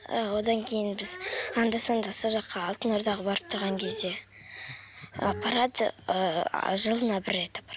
і одан кейін біз анда санда сол жаққа алтын ордаға барып тұрған кезде апарады ыыы жылына бір рет